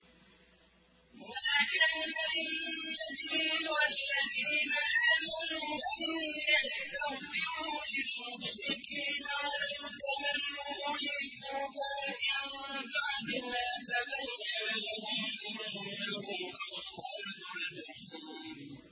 مَا كَانَ لِلنَّبِيِّ وَالَّذِينَ آمَنُوا أَن يَسْتَغْفِرُوا لِلْمُشْرِكِينَ وَلَوْ كَانُوا أُولِي قُرْبَىٰ مِن بَعْدِ مَا تَبَيَّنَ لَهُمْ أَنَّهُمْ أَصْحَابُ الْجَحِيمِ